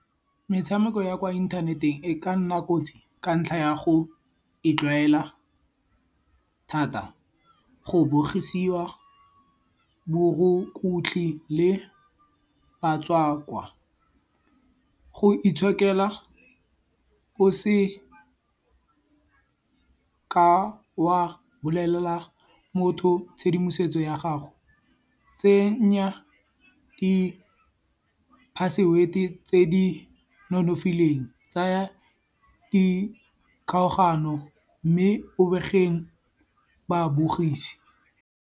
Metshameko ya kwa inthaneteng e ka nna kotsi ka ntlha ya go e tlwaela thata. Go bogisiwa borokotlhe le batswakwa. Go itshokela o se ka wa bolelela motho tshedimosetso ya gago. Tsenya di password-e tse di nonofileng. Tsaya dikgaogano mme o bege babogisi.